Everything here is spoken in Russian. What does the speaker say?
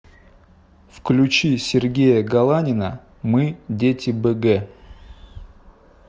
включи сергея галанина мы дети бг